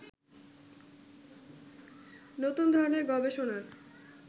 নতুন ধরনের গবেষণার